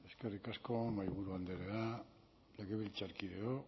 eskerrik asko mahaiburu andrea legebiltzarkideok